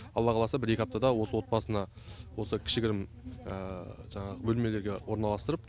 алла қаласа бір екі аптада осы отбасына осы кішігірім жаңағы бөлмелерге орналастырып